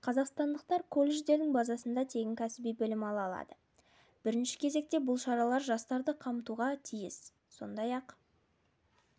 қазақстандықтар колледждердің базасында тегін кәсіби білім ала алады бірінші кезекте бұл шаралар жастарды қамтуға тиіс сондай-ақ